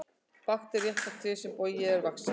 Bágt er rétta það tré sem bogið er vaxið.